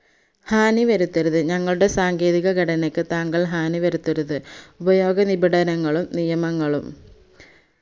ഹാനിവരുത്തരുത് ഞങ്ങളുടെ സാങ്കേതികഘടനക്ക് താങ്കൾ ഹാനിവരുത്തരുത് ഉപയോഗനിബിടനകളും നിയങ്ങളും